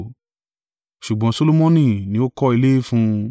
Ṣùgbọ́n Solomoni ni ó kọ́ ilé fún un.